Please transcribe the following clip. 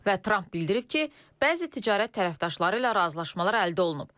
Və Tramp bildirib ki, bəzi ticarət tərəfdaşları ilə razılaşmalar əldə olunub.